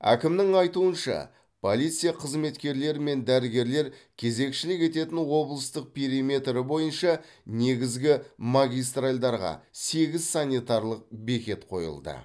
әкімнің айтуынша полиция қызметкерлері мен дәрігерлер кезекшілік ететін облыстың периметрі бойынша негізгі магистральдарға сегіз санитарлық бекет қойылды